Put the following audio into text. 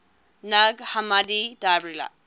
nag hammadi library